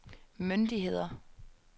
myndigheder